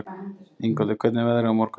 Ingvaldur, hvernig er veðrið á morgun?